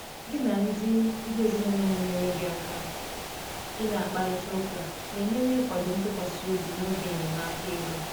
gị na ndị ndị ezinụlọ na enyere gị aka ị na akparita ụka na enyere ikwado ntụkwasị obi n'oge enyemaka ego